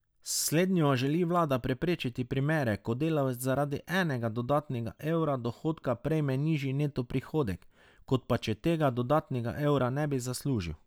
S slednjo želi vlada preprečiti primere, ko delavec zaradi enega dodatnega evra dohodka prejme nižji neto prihodek, kot pa če tega dodatnega evra ne bi zaslužil.